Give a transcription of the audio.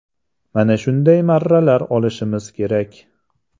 Mana shunday marralar olishimiz kerak.